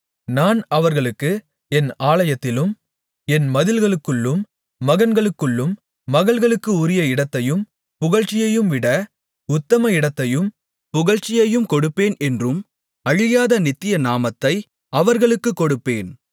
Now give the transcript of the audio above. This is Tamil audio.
நான் அவர்களுக்கு என் ஆலயத்திலும் என் மதில்களுக்குள்ளும் மகன்களுக்கும் மகள்களுக்கு உரிய இடத்தையும் புகழ்ச்சியையும் விட உத்தம இடத்தையும் புகழ்ச்சியையும் கொடுப்பேன் என்றும் அழியாத நித்திய நாமத்தை அவர்களுக்கு கொடுப்பேன்